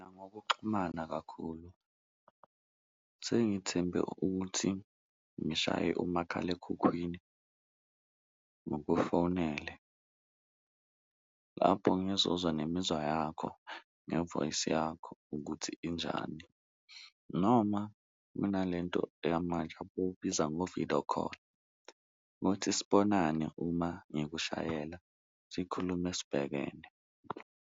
Ngokuxhumana kakhulu sengithembe ukuthi ngishaye umakhalekhukhwini ngukufonele lapho ngizozwa nemizwa yakho, nge-voice yakho ukuthi injani noma kunalento eyamanje abawubiza nge-video call ukuthi sibonane uma ngikushayela sikhulume sibhekene.